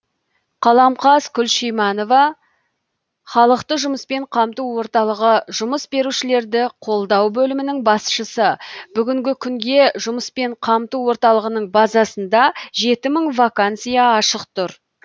қаламқас күлшиманова халықты жұмыспен қамту орталығы жұмыс берушілерді қолдау бөлімінің басшысы бүгінгі күнге жұмыспен қамту орталығының базасында жеті мың вакансия ашық тұр